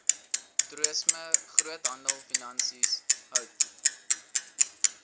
toerisme groothandelfinansies hout